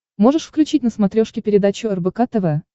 можешь включить на смотрешке передачу рбк тв